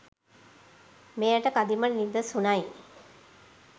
මෙයට කදිම නිදසුනයි.